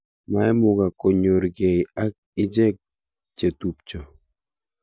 maimugak konyor gei ak ichek chetupcho